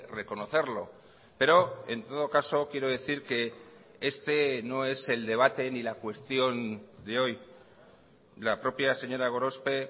reconocerlo pero en todo caso quiero decir que este no es el debate ni la cuestión de hoy la propia señora gorospe